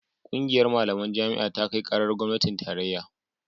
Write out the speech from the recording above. ƙungiyar malaman jami'a ta kai karar gwamnatin tarayya